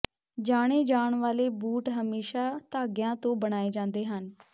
ਜਾਣੇ ਜਾਣ ਵਾਲੇ ਬੂਟ ਹਮੇਸ਼ਾਂ ਧਾਗਿਆਂ ਤੋਂ ਬਣਾਏ ਜਾਂਦੇ ਹਨ